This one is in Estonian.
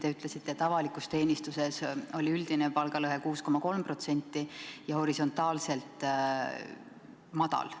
Te ütlesite, et avalikus teenistuses oli üldine palgalõhe 6,3% ja horisontaalselt väike.